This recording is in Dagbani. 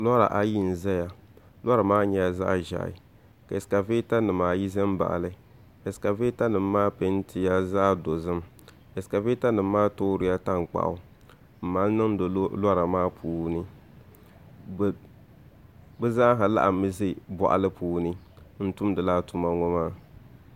Lora bibaayi n ʒɛya lora maa nyɛla zaɣ ʒiɛhi ka ɛskavɛta nim ayi ʒɛ n baɣali ɛskavɛta nim maa peentila zaɣ dozim ɛskavɛta nim maa toorila tankpaɣu n mali niŋdi lora maa puuni bi zaaha laɣammi ʒi boɣali puuni n tumdi laa tuma ŋo maa